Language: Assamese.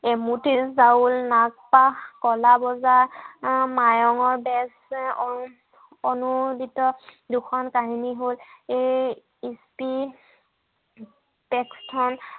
এমুঠি চাউল নাস্তা কলা বজাৰ মায়ঙৰ বেজ হম অনুৰ্বিত দুখন কাহিনী হ'ল এই